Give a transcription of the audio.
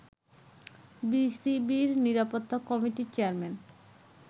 বিসিবির নিরাপত্তা কমিটির চেয়ারম্যান